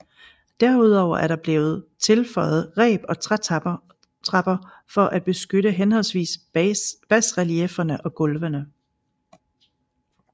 Derudover er der blevet tilføjet reb og trætrapper for at beskytte henholdsvis basreliefferne og gulvene